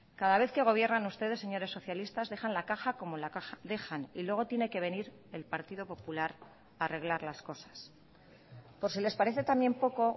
cada vez que gobiernan ustedes señores socialistas dejan la caja como la dejan y luego tiene que venir el partido popular a arreglar las cosas por si les parece también poco